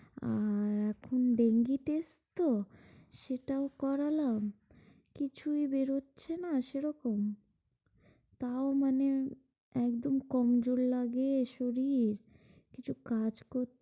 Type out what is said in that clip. আর এখন dengue test তো, সেটাও করালাম, কিছুই বেরোচ্ছে না সেরকম। তাও মানে একদম কমজোর লাগে শরীর, কিছু কাজ করতে,